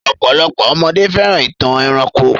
Ọ̀pọ̀lopọ̀ ọmọdé fẹ́ràn ìtàn ẹranko.